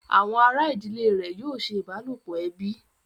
Àwọn àrà ìdílé rẹ̀ yóò ṣe ìbálòpọ̀ ẹbí